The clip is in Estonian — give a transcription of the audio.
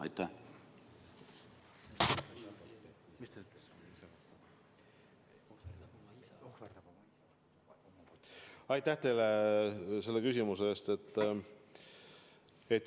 Aitäh teile selle küsimuse eest!